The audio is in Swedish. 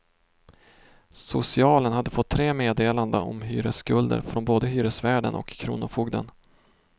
Socialen hade fått tre meddelanden om hyresskulden från både hyresvärden och kronofogden.